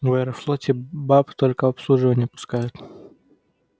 в аэрофлоте баб только в обслуживание пускают